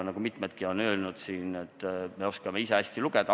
Mitmedki on siin saalis öelnud, et me oskame ise hästi lugeda.